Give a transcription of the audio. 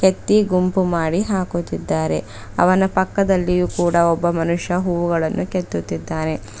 ವ್ಯಕ್ತಿ ಗುಂಪು ಮಾಡಿ ಹಾಕುತ್ತಿದ್ದಾರೆ ಅವನ ಪಕ್ಕದಲ್ಲಿಯು ಕೂಡ ಒಬ್ಬ ಮನುಷ್ಯ ಹೂವುಗಳನ್ನು ಕೆತ್ತುತ್ತಿದ್ದಾರೆ.